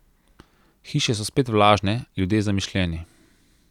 Hiše so spet vlažne, ljudje zamišljeni.